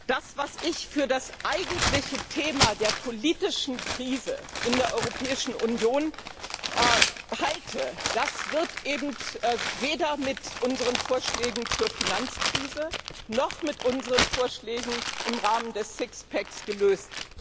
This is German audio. Das, was ich für das eigentliche Thema der politischen Krise in der Europäischen Union halte, wird weder mit unseren Vorschlägen zur Finanzkrise noch mit unseren Vorschlägen im Rahmen des Sixpacks gelöst.